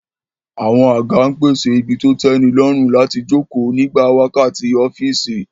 Àwọn àga ń pèsè ibi tó tẹ́nilọ́rùn láti jókòó nígbà wákàtí ọ́fíìsì